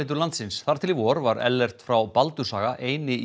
landsins þar til í vor var Ellert frá Baldurshaga eini